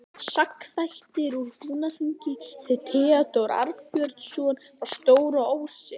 Sagnaþættir úr Húnaþingi eftir Theódór Arnbjörnsson frá Stóra-Ósi